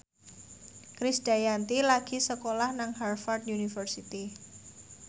Krisdayanti lagi sekolah nang Harvard university